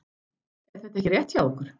Er þetta ekki rétt hjá okkur?